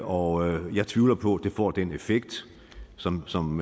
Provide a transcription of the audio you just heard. og jeg tvivler på at det får den effekt som som